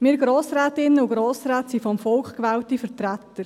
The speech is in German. Wir Grossrätinnen und Grossräte sind vom Volk gewählte Vertreter.